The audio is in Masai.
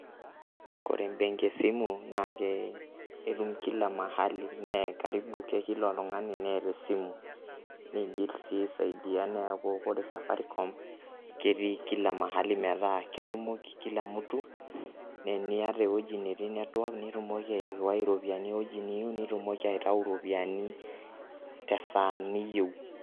Kore embenki esimu naake tum kila mahali nee karibu ke kila oltung'ani neeta esimu, nigil sii aisaidia neeku kore safaricom keti kila mahali metaa ketumoki kila mtu nee eniata ewueji natii network nitumoki airiwai iropiani ewueji niyiu, nitumoki aitau iropiani te saa niyeu.